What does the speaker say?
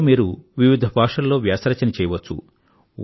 ఇందులో మీరు వివిధ భాషల్లో వ్యాస రచన చేయవచ్చు